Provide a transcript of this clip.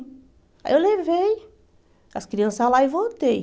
Aí eu levei as crianças lá e voltei.